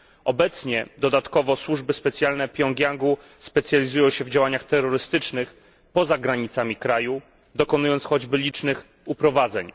Obecnie dodatkowo służby specjalne Pjongjangu specjalizują się w działaniach terrorystycznych poza granicami kraju, dokonując choćby licznych uprowadzeń.